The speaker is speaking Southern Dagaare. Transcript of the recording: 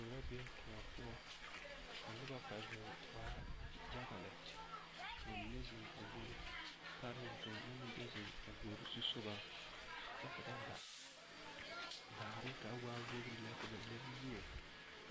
Gbori la kpɛ be kõɔ poɔ ka noba kpɛ zeŋ waa yaga lɛ ka bamine zeŋ a gbori pare ka bamine meŋ zeŋ a gbori zusogɔ kyɛ ka ba ba daare ka a waa wogiri lɛ ka ba le mie